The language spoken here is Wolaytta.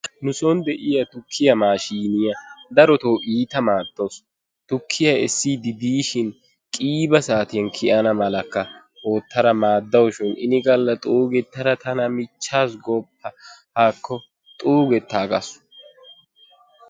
Nuson deiyaa tukkiya maashshiniyaa darotoo iita maadawusu. Tukkiya essidi diishshin qiiba saatiyan kiyana malakka ootara maadawushin inigalla xuugetara tana michchaasu gooppa. Haakko xuugetaagaasu.